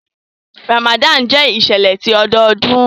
Ramadan jẹ iṣẹlẹ ti ọdọọdun.